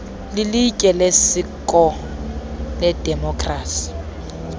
lilitye lesiseko ledemokhrasi